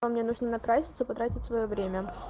мне нужно накраситься потратить своё время